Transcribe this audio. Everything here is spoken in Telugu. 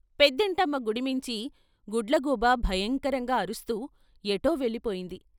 పెద్దింటమ్మ గుడిమీంచి గుడ్లగూబ భయంకరంగా అరుస్తూ ఎటో వెళ్ళిపోయింది.